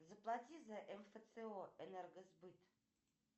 заплати за мфцо энергосбыт